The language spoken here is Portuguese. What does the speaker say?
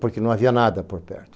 Porque não havia nada por perto.